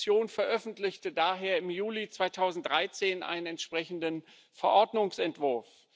Die Kommission veröffentlichte daher im Juli 2013 einen entsprechenden Verordnungsentwurf.